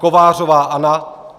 Kovářová Anna